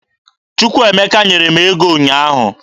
Chukwuemeka nyere m ego ụnyaahụ.